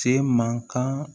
Se man kan